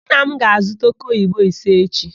Nna m ga-azuta òkéoyibo ise echi.